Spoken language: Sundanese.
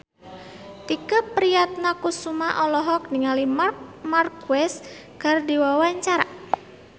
Tike Priatnakusuma olohok ningali Marc Marquez keur diwawancara